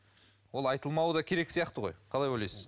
ол айтылмауы да керек сияқты ғой қалай ойлайсыз